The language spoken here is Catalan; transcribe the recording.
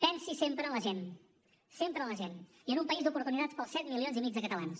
pensi sempre en la gent sempre en la gent i en un país d’oportunitats per als set milions i mig de catalans